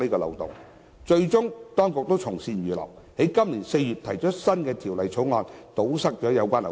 當局最終從善如流，在今年4月提出《第2號條例草案》，以堵塞有關漏洞。